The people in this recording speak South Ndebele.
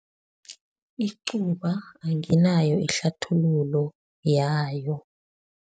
Icuba anginayo ihlathululo yayo.